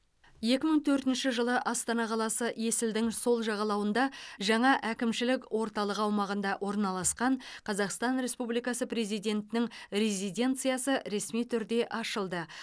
екі мың төртінші жылы астана қаласы есілдің сол жағалауындағы жаңа әкімшілік орталығы аумағында орналасқан қазақстан республикасы президентінің резиденциясы ресми түрде ашылды